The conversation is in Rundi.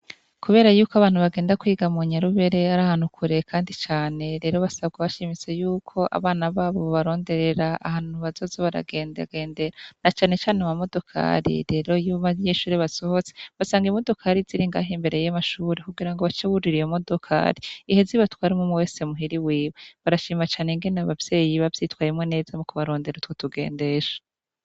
Kubera yuko abantu bagenda kwiga mu nyarubere ari ahantukure, kandi cane rero basabwa abashimise yuko abana babo baronderera ahantu bazoze baragengendera na canecane ba modokari rero yuma vy'eshure basohotse basanga imodokari ziri ingahe imberey y'amashuri kugira ngo bacawurira ye modokari ihe zibatwara mumwe wese muhiri wiwe barashima cane ngene bavyeyiba vyitwayemwo neza mu kubarondera utwo tugendesha.